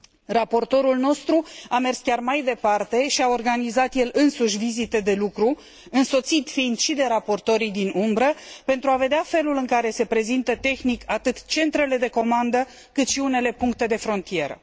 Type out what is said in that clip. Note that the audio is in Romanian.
Raportorul nostru a mers chiar mai departe și a organizat el însuși vizite de lucru, însoțit fiind și de raportorii alternativi, pentru a vedea felul în care se prezintă tehnic atât centrele de comandă, cât și unele puncte de frontieră.